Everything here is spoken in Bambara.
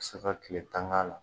Bi se ka kile tan ga la